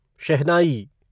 शहनाई